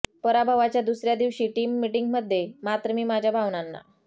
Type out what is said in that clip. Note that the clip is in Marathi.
पराभवाच्या दुसऱ्या दिवशी टीम मीटिंगमध्ये मात्र मी माझ्या भावनांना